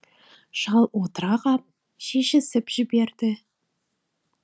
шал отыра қап шешісіп жіберді